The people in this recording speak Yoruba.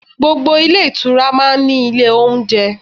Gbogbo ilé ìtura máa ń ní ilé oúnjẹ.